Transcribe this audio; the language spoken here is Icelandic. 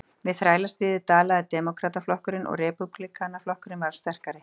Við þrælastríðið dalaði Demókrataflokkurinn og Repúblikanaflokkurinn varð sterkari.